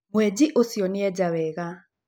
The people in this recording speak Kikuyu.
Mwenji ũcio nĩ eenjaga wega.